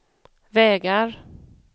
vägar